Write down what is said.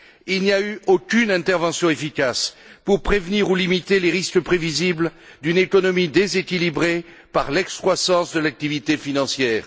Il n'y a eu aucune intervention efficace pour prévenir ou limiter les risques prévisibles d'une économie déséquilibrée par l'excroissance de l'activité financière.